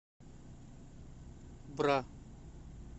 бра